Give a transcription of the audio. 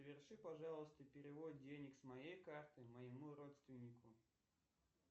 соверши пожалуйста перевод денег с моей карты моему родственнику